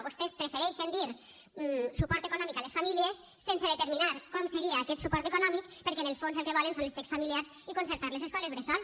vostès prefereixen dir suport econòmic a les famílies sense determinar com seria aquest suport econòmic perquè en el fons el que volen són els xecs familiars i concertar les escoles bressol